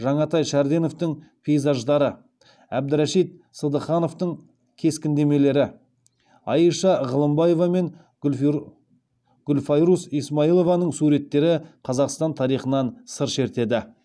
жаңатай шәрденовтің пейзаждары әбдірашит сыдыхановтың кескіндемелері айша ғылымбаева мен гүлфайрус исмаилованың суреттері қазақстан тарихынан сыр шертеді